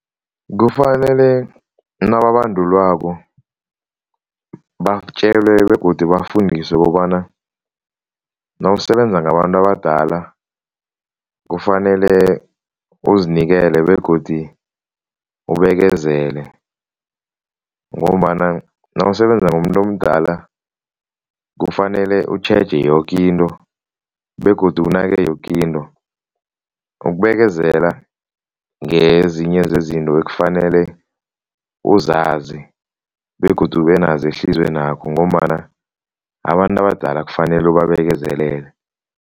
Kufanele nababandulwako batjelwe begodu bafundiswe kobana nawusebenza ngabantu abadala kufanele uzinikele begodi ubekezele ngombana nawusebenza ngomuntu omdala kufanele utjheje yoke into begodu unake yoke into. Ukubekezela ngezinye zezinto ekufanele uzazi begodu ubenazo ehliziywenakho ngombana abantu abadala kufanele ubabekezelele.